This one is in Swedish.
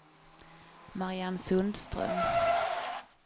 Mariann Sundström